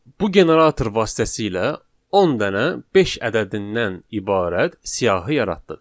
Bu generator vasitəsilə 10 dənə beş ədədindən ibarət siyahı yaratdıq.